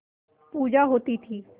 पूजा होती थी